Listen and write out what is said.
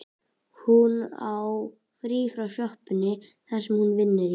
Hún á frí frá sjoppunni sem hún vinnur í.